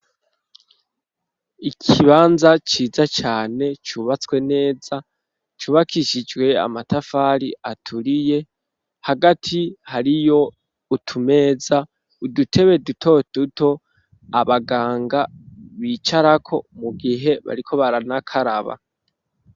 Ikibanza ciza cane, cubatswe neza, cubakishijwe amatafari, aturiye; hagati hariyo utumeza, udutebe duto duto, abaganga bicarako, mu gihe bariko, baranakaraba.